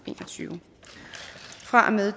en og tyve fra og med